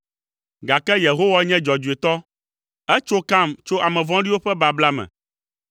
gake Yehowa nye dzɔdzɔetɔ, etso kam tso ame vɔ̃ɖiwo ƒe babla me.”